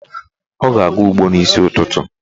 Ọ na-aga ụgbọ n'isi ụtụtụ.